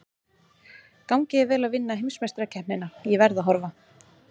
Gangi þér vel að vinna heimsmeistarakeppnina, ég verð að horfa.